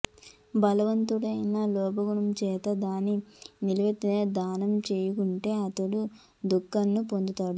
భగవంతుడైనా లోభగుణం చేత దాని నెవరికీ దానం చేయకుంటె అతడు దుఃఖాలను పొందుతాడు